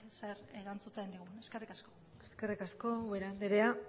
zer erantzuten digun eskerrik asko eskerrik asko ubera andrea